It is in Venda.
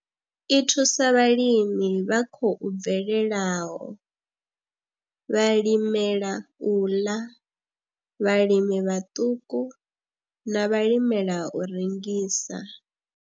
I thusa vhalimi vha khou bvelelaho, vhalimela u ḽa, vhalimi vhaṱuku na vhalimela u rengisa.